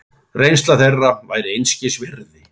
Reynsla þeirra væri einskis virði.